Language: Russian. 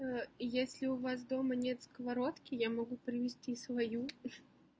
если у вас дома нет сковородки я могу принести свою